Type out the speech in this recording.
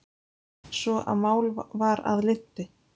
svo að mál var að linnti.